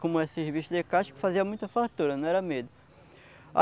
Como é serviço de casco fazia muita fartura, não era medo.